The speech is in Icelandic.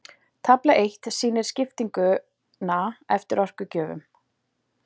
tafla eitt sýnir skiptinguna eftir orkugjöfum